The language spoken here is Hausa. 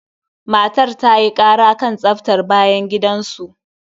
Matar ta yi ƙara kan tsaftar bayan gidan su.